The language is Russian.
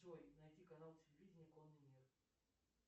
джой найди канал телевидения конный мир